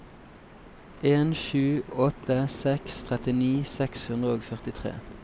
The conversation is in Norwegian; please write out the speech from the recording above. en sju åtte seks trettini seks hundre og førtitre